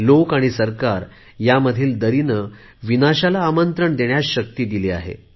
लोक आणि सरकार यामधील दरीने आमच्या विनाशाला शक्ती दिली आहे